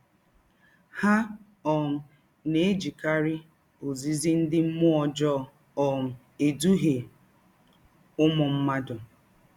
Ha um na - ejikarị “ ozizi ndị mmụọ ọjọọ ” um edụhịe ụmụ mmadụ.